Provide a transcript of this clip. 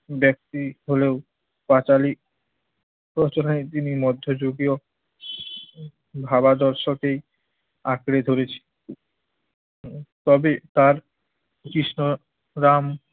ব্যক্তি হলেও পাঁচালী প্রোচনে তিনি মধ্য যুগীয় ভাবা দর্শকেই আঁকড়ে ধরেছে। তবে তার কৃষ্ণ রাম